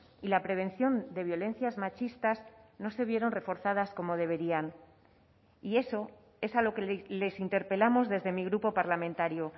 y la prevención de violencias machistas no se vieron reforzadas como deberían y eso es a lo que les interpelamos desde mi grupo parlamentario